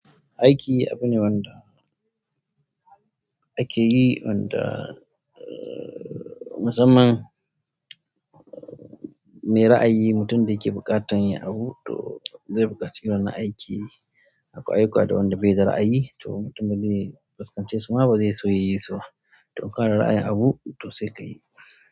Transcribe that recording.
Aiki abu ne wanda ake yi, wanda masamman mai ra'ayi, mutum da yake buƙatar yin abu to zai buƙaci wani aiki. Akwai ayyuka da wanda bai da ra'ayi to mutumin zai fuskanci suma, ba zai iya so ya yi so. To in ka da ra'ayin abu to sai ka yi.